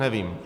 Nevím.